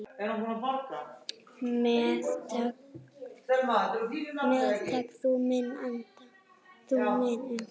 Meðtak þú minn anda.